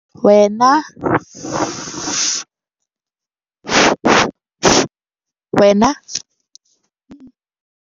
Wena le bapalami ba hao le dula le tlamme mabanta.